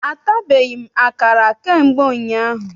Atabeghị m akara ka mgbe ụnyaahụ.